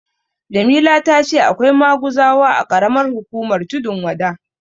Jamila ta ce akwai maguzawa a ƙaramar hukumar Tundun Wada.